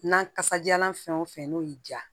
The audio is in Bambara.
Na kasajalan fɛn o fɛn n'o y'i diya